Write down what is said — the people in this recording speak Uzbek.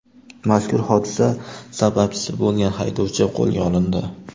Mazkur hodisa sababchisi bo‘lgan haydovchi qo‘lga olindi.